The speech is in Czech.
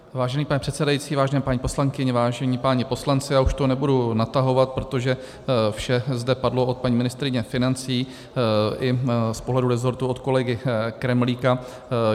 Vážený pane předsedající, vážené paní poslankyně, vážení páni poslanci, já už to nebudu natahovat, protože vše zde padlo od paní ministryně financí i z pohledu rezortu od kolegy Kremlíka.